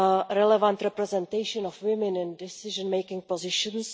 relevant representation of women in decision making positions